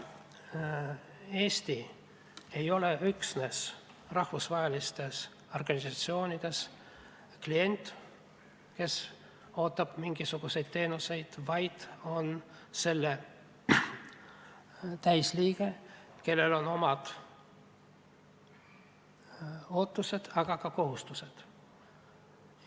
Eesti ei ole rahvusvahelistes organisatsioonides üksnes klient, kes ootab mingisuguseid teenuseid, vaid nende täisliige, kellel on oma ootused, aga ka kohustused.